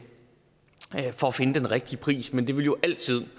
for at finde den rigtige pris men det vil jo altid